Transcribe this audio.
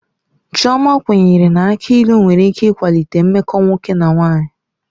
Chioma kwenyere na aki ilu nwere ike ịkwalite mmekọ nwoke na nwanyị.